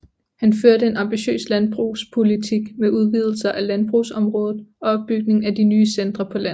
Han førte en ambitiøs landbrugspolitik med udvidelser af landbrugsområdet og opbygning af nye centre på landet